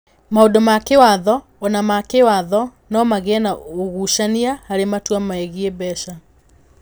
Maũndũ ma kĩĩwatho o na ma kĩĩwatho no magĩe na ũgucania harĩ matua megiĩ mbeca.